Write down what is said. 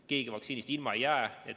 Keegi vaktsiinist ilma ei jää.